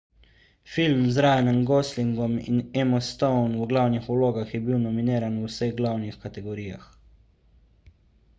film z ryanom goslingom in emmo stone v glavnih vlogah je bil nominiran v vseh glavnih kategorijah